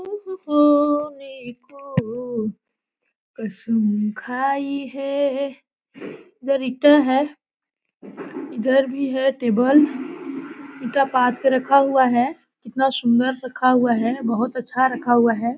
तू ही तू कसम खाई है। इधर इटा है। इधर भी है टेबल इटा पात के रखा हुआ है। इतना सुंदर रखा हुआ है। बहुत अच्छा रखा हुआ है।